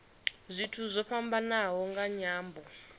zwithu zwo fhambanaho nga nyambo